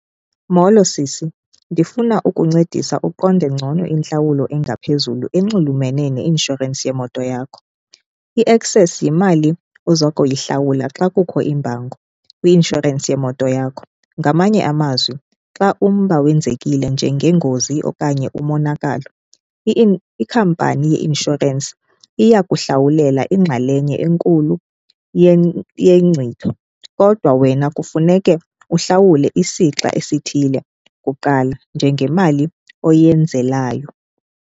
Molo, sisi, ndifuna ukuncedisa uqonde ngcono intlawulo engaphezulu enxulumene neinshorensi yemoto yakho. I-excess yimali ozokuyihlawula xa kukho imbango kwi-inshorensi yemoto yakho. Ngamanye amazwi, xa umba wenzekile njengengozi okanye umonakalo, ikhampani yeinshorensi iyakuhlawulela ingxalenye enkulu yengcitho kodwa wena kufuneke uhlawule isixa esithile kuqala njengemali oyenzelayo.